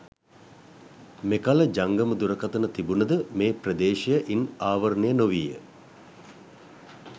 මෙකල ජංගම දුරකතන තිබුණද මේ ප්‍රදේශය ඉන් ආවරණය නොවීය.